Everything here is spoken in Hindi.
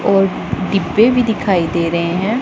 और डिब्बे भी दिखाई दे रहे हैं।